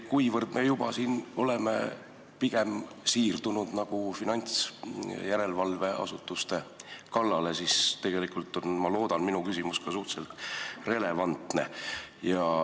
Kuivõrd me juba oleme siirdunud pigem finantsjärelevalveasutuste kallale, siis tegelikult on, ma loodan, minu küsimus suhteliselt relevantne.